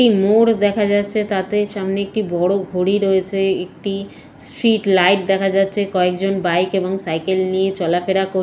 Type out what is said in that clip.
একটি মোর দেখা যাচ্ছে। তাতে সামনে একটি বড় ঘড়ি রয়েছে। একটি স্ট্রিট লাইট দেখা যাচ্ছে। কয়েকজন বাইক এবং সাইকেল নিয়ে চলাফেরা কর--